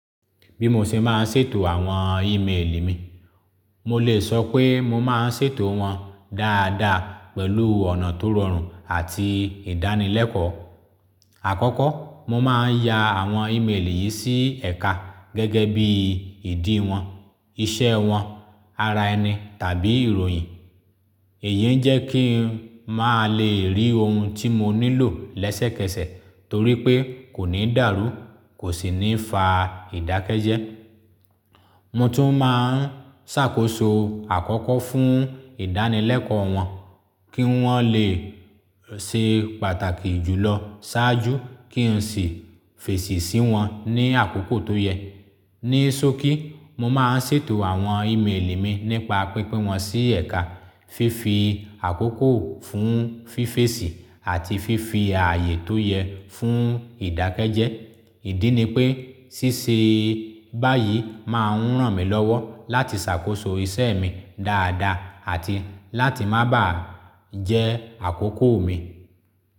Bí mo ṣe máa ń ṣètò àwọn íimeèlì mi, mo lè sọ pé mo máa ń ṣètò wọn dáadáa pẹ̀lú ọ̀nà tó rọrùn àti ìdánilẹ́kọ̀ọ́. Àkọ́kọ́ mo máa ń ya àwọn íimeèlì yìí sí ẹ̀ka gẹ́gẹ́ bí ìdí wọn, iṣẹ́ wọn, ara ẹni tàbí ìròyìn. Ìyẹn ń jẹ́ kí ń máa lè rí ohun tí mo nílò lẹ́sẹ̀kẹsẹ̀ torí pé kò ní dàrú, kò sì ní fa ìdákẹ́jẹ́. Mo tún máa ń ṣàkóso àkọ́kọ́ fún ìdánilẹ́kọ̀ọ́ wọn kí wọ́n lè ṣe pàtàkì jùlọ ṣáájú kí n sì fèsì sí wọn ní àkókò tó yẹ. Ní sókí, mo máa ń ṣètò àwọn íimeèlì mi nípa pípín wọn sí ẹ̀ka, fífi àkókò fún fífèsì àti fífi ààyè tó yẹ fún ìdákẹ́jẹ́. Ìdí ni pé ṣíṣe báyìí máa ń ràn mí lọ́wọ́ láti ṣàkóso iṣẹ́ mi dáadáa àti láti má bà á jẹ́ àkókò mi.